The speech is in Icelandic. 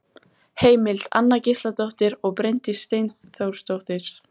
Heimild: Anna Gísladóttir og Bryndís Steinþórsdóttir.